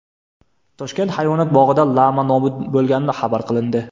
Toshkent hayvonot bog‘ida lama nobud bo‘lgani xabar qilindi.